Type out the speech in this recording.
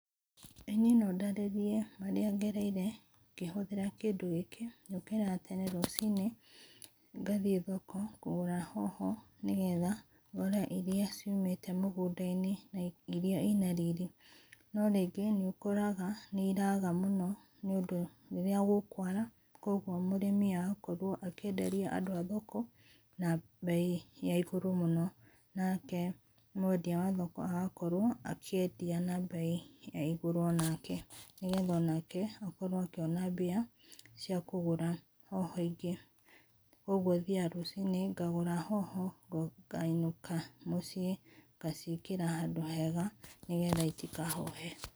Ĩĩ niĩ no ndarĩrĩe marĩa gereire ngĩhũthĩra kĩndũ gĩkĩ njũkĩra tene rũcinĩ ngathĩe thoko kũgũra hoho nĩ getha gore ĩrĩa ciũmĩte mũgũnda inĩ, ĩrĩa ĩna rĩrĩ no rĩngĩ nĩ ũkora nĩ ĩraga mũno nĩ ũndũ rĩrĩa gũkũara kwogwo mũrĩmi agakorwo akĩenderĩ andũ a thoko na beĩ ya ĩgũrũ mũno, nake mwendĩa wa thoko agakorwo akĩendĩa na beĩ ya ĩgũrũ onake nĩ getha onake akoro akĩona mbĩa cia kũgũra hoho ĩngĩ kwogwo thĩaga rũcinĩ ngagũra hoho ngaĩnũka mũciĩ ngaciekera handũ hega nĩ getha itikahohe.